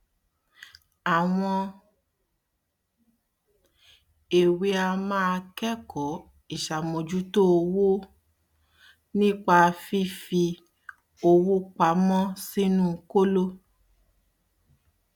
àwọn èwe a máa kẹkọọ ìṣàmójútó owó um nípa fífi um owó pamọ sínu kóló